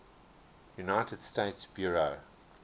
united states bureau